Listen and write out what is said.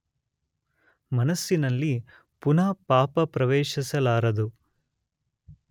ಮನಸ್ಸಿನಲ್ಲಿ ಪುನಃ ಪಾಪ ಪ್ರವೇಶಿಸಲಾರದು.